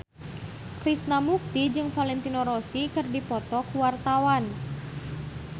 Krishna Mukti jeung Valentino Rossi keur dipoto ku wartawan